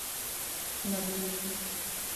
Nad njim.